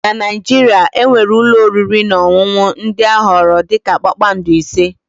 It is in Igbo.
na Naijiria, e nwere ụlọ oriri na ọṅụṅụ ndị a họọrọ dị ka kpakpando ise